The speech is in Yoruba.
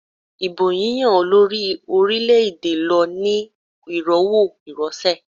Ìbò yíyán olórí orílẹ̀-èdè lọ ní ìrọwọ́ ìrọsẹ̀.